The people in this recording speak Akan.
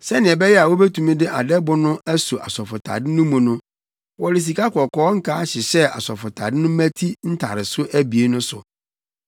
Sɛnea ɛbɛyɛ a wobetumi de adɛbo no aso asɔfotade no mu no, wɔde sikakɔkɔɔ nkaa hyehyɛɛ asɔfotade no mmati ntareso abien no so.